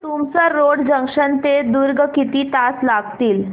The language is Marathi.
तुमसर रोड जंक्शन ते दुर्ग किती तास लागतील